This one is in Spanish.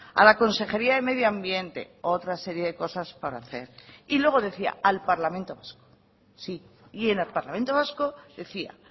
a la consejería de medio ambiente otra serie de cosas para hacer y luego decía al parlamento vasco sí y en el parlamento vasco decía